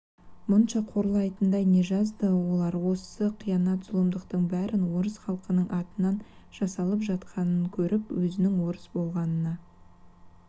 мұнша қорлайтындай не жазды олар осы қиянат зұлымдықтың бәрі орыс халқының атынан жасалып жатқанын көріп өзінің орыс болғанына